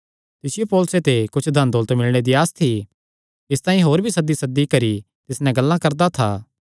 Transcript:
तिसियो पौलुसे ते कुच्छ धनदौलत मिलणे दी आस थी इसतांई होर भी सद्दीसद्दी करी तिस नैं गल्लां करा करदा था